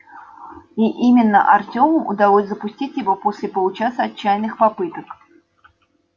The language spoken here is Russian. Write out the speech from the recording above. и именно артему удалось запустить его после получаса отчаянных попыток